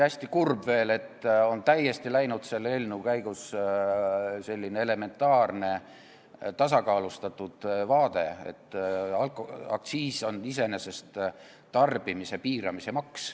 Hästi kurb on veel see, et täiesti on selle eelnõu arutamise käigus kadunud selline elementaarne tasakaalustatud teadmine, et aktsiis on iseenesest tarbimise piiramise maks.